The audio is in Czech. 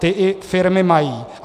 Ta i firmy mají.